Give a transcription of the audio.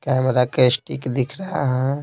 Camera का stick दिख रहा है।